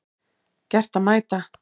Gert að mæta